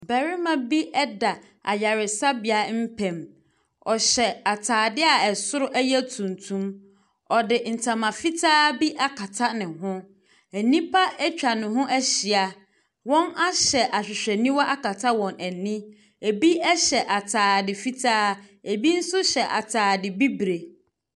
Barima bi da ayaresabea mpam. Ɔhyɛ atadeɛ a ɛsoro no yɛ tuntum. Ɔde ntama fitaa bi akata ne ho. Nnipa atwa ne ho ahyia. Wɔahyɛ ahwehwɛniwa akata wɔn ani. Ebi hyɛ atade fitaa, ebi nso hyɛ atadeɛ bibire.